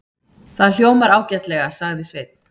Það hljómar ágætlega, sagði Sveinn.